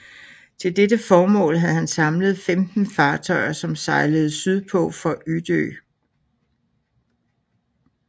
Til dette formål havde man samlet 15 fartøjer som sejlede sydpå fra Utö